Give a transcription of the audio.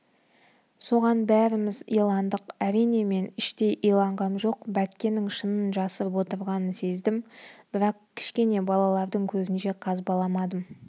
соған бәріміз иландық әрине мен іштей иланғам жоқ бәккенің шынын жасырып отырғанын сездім бірақ кішкене балалардың көзінше қазбаламадым